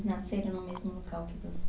Eles nasceram no mesmo local que você?